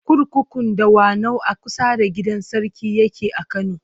Kurkukun Dawanau a kusa da gidan sarki yake a Kano.